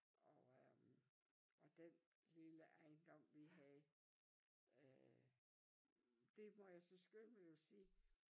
Og øh og den lille ejendom vi havde øh det må jeg så skynde mig at sige